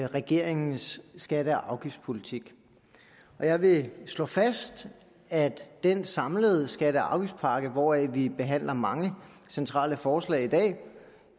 regeringens skatte og afgiftspolitik jeg vil slå fast at den samlede skatte og afgiftspakke hvoraf vi behandler mange centrale forslag